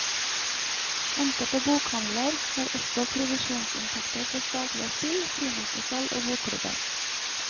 Enkelte bokhandler har også provisjonsinntekter fra statlige spill, frimerkesalg og bokklubber.